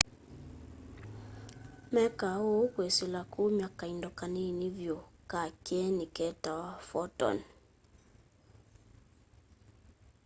mekaa ũũ kwĩsĩla kũmya kaĩndo kanĩnĩ vyũ ka kyenĩ ketawa photon